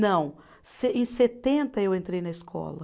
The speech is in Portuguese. Não, se, em setenta eu entrei na escola.